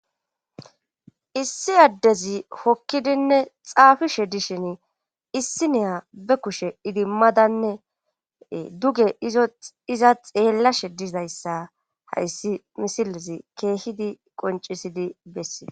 issi addezi hokkidinne xaafishe dishin issi neya be kushe idi madanne duge iza xeellashe dizayssa hayssi misilezi keehidi qoncisidi bessi